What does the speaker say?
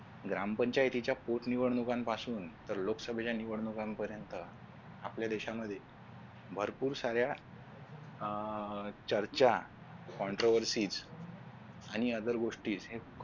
ग्रामपंचायतीच्या पोट निवडणुकांपासून तर लोकसभेच्या निवडणुका पर्यंत आपल्या देशामध्ये भरपूर साऱ्या अह चर्चा आणि other गोष्टी हे